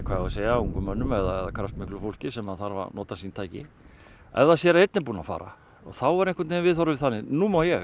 ungum mönnum eða kraftmiklu fólki sem þarf að nota sín tæki ef það sér að einn er búinn að fara þá er viðhorfið þannig að nú má ég